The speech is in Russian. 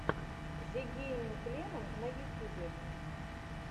зе гейминг лемон на ютьюбе